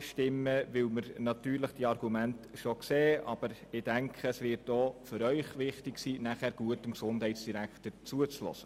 Wir verstehen zwar die Argumente, aber es wird auch für sie wichtig sein, dem Gesundheitsdirektor gut zuzuhören.